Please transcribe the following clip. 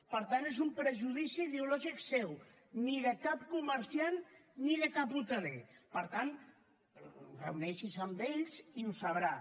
per tant és un prejudici ideològic seu ni de cap comerciant ni de cap hoteler per tant reuneixi’s amb ells i ho sabrà